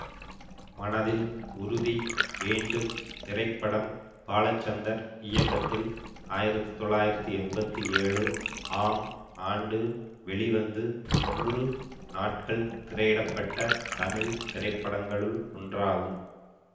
மனதில் உறுதி வேண்டும் திரைப்படம் பாலச்சந்தர் இயக்கத்தில் ஆயிரத்தி தொள்ளாயிரத்தி எம்பத்தி ஏழு ஆம் ஆண்டு வெளிவந்து நூறு நாட்கள் திரையிடப்பட்டத் தமிழ் திரைப்படங்களுள் ஒன்றாகும்